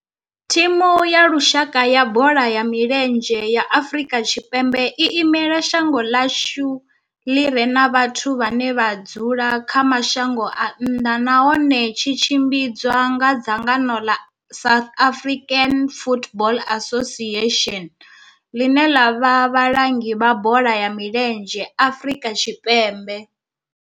Thimu ya lushaka ya bola ya milenzhe ya Afrika Tshipembe i imela shango ḽa hashu ḽi re na vhathu vhane vha dzula kha mashango a nnḓa nahone tshi tshimbidzwa nga dzangano la South African Football Association, line la vha vhalangi vha bola ya milenzhe Afrika Tshipembe.